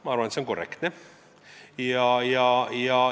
Ma arvan, et see on korrektne.